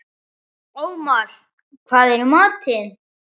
Ómar, hvað er í matinn?